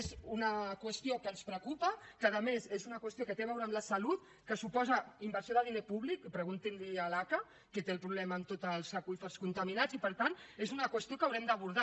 és una qüestió que ens preocupa que a més és una qüestió que té a veure amb la salut que suposa inversió de diner públic preguntin li ho a l’aca que té el problema amb tots els aqüífers contaminats i per tant és una qüestió que haurem d’abordar